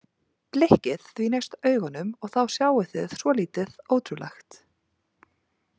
Blikkið því næst augunum og þá sjáið þið svolítið ótrúlegt.